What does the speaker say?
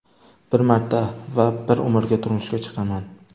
Bir marta va bir umrga turmushga chiqaman.